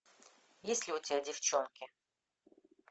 есть ли у тебя девчонки